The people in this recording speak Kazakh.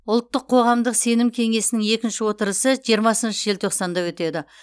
ұлттық қоғамдық сенім кеңесінің екінші отырысы жиырмасыншы желтоқсанда өтеді